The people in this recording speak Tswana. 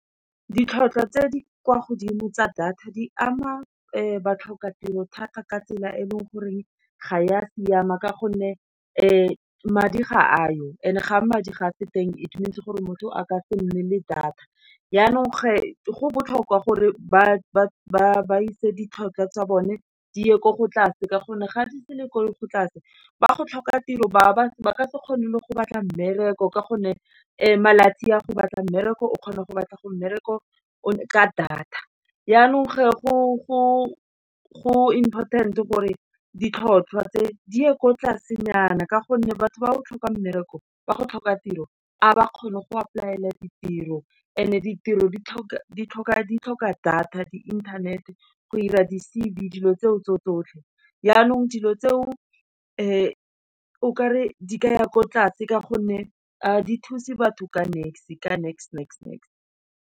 Ditlhotlhwa tse di kwa godimo tsa data, di ama batlhokatiro thata ka tsela e e leng goreng ga ya siama, ka gonne madi ga a yo, and ga madi ga a se teng it means gore motho a ka se nne le data, yaanong ge, go botlhokwa gore ba ise ditlhokwa tsa bone di ye ko tlase, ka gonne ga di se le gore go tlase, ba go tlhoka tiro ba ka se kgone le go batla mmereko, ka gonne malatsi a go batla mmereko, o kgona go batla go mmereko o le ka data. Janong ge go important-e gore ditlhotlhwa tse, di ye ko tlasenyana ka gonne batho ba o tlhoka mmereko, ga ba kgone go apply-e ditiro and e ditiro di tlhoka data, di inthanete, go ira di-C_V dilo tseo tse tsotlhe. Janong dilo tseo o kare di ka ya ko tlase ka gonne a di thusa batho ka niks, ka niks-niks-niks.